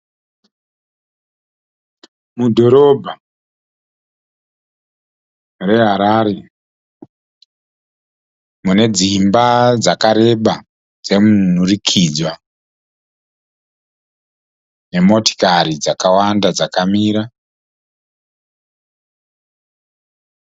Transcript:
Mudhorobha re Harare mune dzimba dzakareba dzemunhurikidzwa, nemotikari dzakawanda dzakamira.